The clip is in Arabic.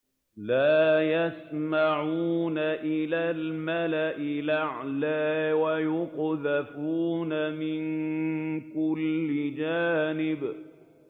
لَّا يَسَّمَّعُونَ إِلَى الْمَلَإِ الْأَعْلَىٰ وَيُقْذَفُونَ مِن كُلِّ جَانِبٍ